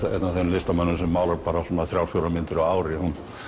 listamönnum sem málar bara þrjár fjórar myndir á ári